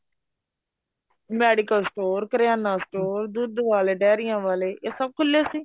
medical store corona store ਦੁੱਧ ਵਾਲੇ ਡਾਇਰੀਆਂ ਵਾਲੇ ਇਹ ਸਭ ਖੁਲੇ ਸੀ